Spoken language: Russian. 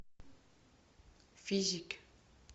физики